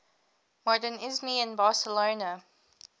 modernisme in barcelona